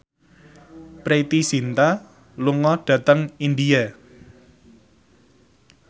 Preity Zinta lunga dhateng India